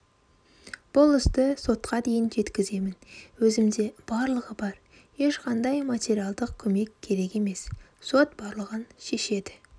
бұл істі сотқа дейін жеткіземін өзімде барлығы бар ешқандай материалдық көмек керек емес сот барлығын шешеді